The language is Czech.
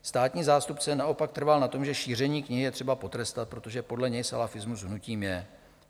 Státní zástupce naopak trval na tom, že šíření knihy je třeba potrestat, protože podle něj salafismus hnutím je.